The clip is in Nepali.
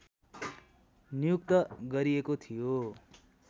नियुक्त गरिएको थियो